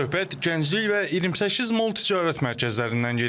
Söhbət Gənclik və 28 Mall ticarət mərkəzlərindən gedir.